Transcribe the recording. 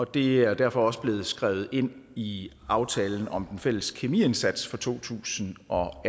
det er derfor også blevet skrevet ind i aftalen om den fælles kemiindsats for to tusind og